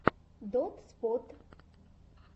дотспот